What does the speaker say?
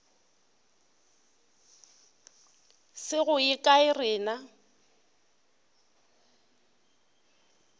se go ye kae rena